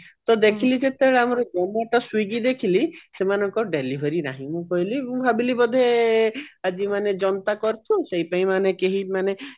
ତ ଦେଖିଲି ଯେତେବେଳେ ଆମର swiggy ଦେଖିଲି ସେମାନଙ୍କର delivery ନାହିଁ ମୁଁ କହିଲି ମୁଁ ଭାବିଲି ବୋଧେ ଆଜି ମାନେ ଜନତା କର୍ଫୁ ସେଇଥି ପାଇଁ ମାନେ କେହି ମାନେ